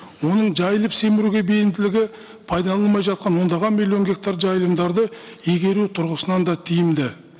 оның жайылып семіруге бейімділігі пайдаланылмай жатқан ондаған миллион гектар жайылымдарды игеру тұрғысынан да тиімді